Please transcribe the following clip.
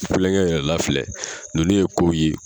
Kulonkɛ yɛrɛ la filɛ, nunnu ye ko ye